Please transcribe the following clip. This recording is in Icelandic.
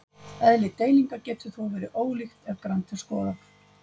Eðli deilingar getur þó verið ólíkt ef grannt er skoðað.